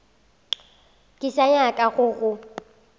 ke sa nyaka go go